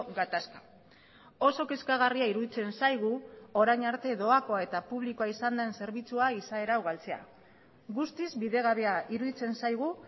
gatazka oso kezkagarria iruditzen zaigu orain arte doakoa eta publikoa izan den zerbitzua izaera hau galtzea guztiz bidegabea iruditzen zaigu